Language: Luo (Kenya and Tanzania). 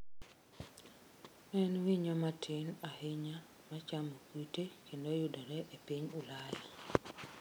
En winyo matin ahinya machamo kute kendo yudore e piny Ulaya.